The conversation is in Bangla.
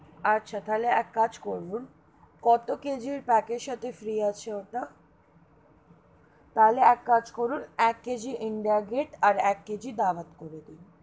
আচ্ছা তাহলে এক কাজ করুন, কত KG pack এর সাথে ফ্রি আছে ওটা? তাহলে এক কাজ করুন এক KG ইন্ডিয়া গেট, আর এক KG দাওয়ত করে দিন.